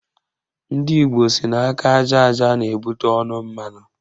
Ndị Igbo sị na aka aja aja na-ebute ọnụ mmanụ